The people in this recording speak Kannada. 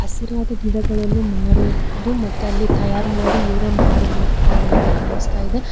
ಹಸಿರಾದ ಗಿಡಗಳನ್ನು ಮಾರುವುದು ಮತ್ತೆ ಅದೇ ತಯಾರು ಮಾಡಿ ಇವ್ರೇ ಮಾರುತ್ತಾರೆ ಅಂತ ಕಾನಸ್ಥ ಇದೆ.